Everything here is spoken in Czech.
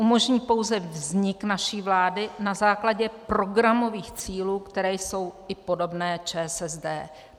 Umožní pouze vznik naší vlády na základě programových cílů, které jsou i podobné ČSSD."